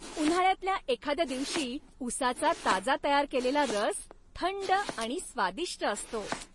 उन्हाळ्यातल्या एखाद्या दिवशी ऊसाचा ताजा तयार केलेला रस थंड आणि स्वादिष्ट असतो.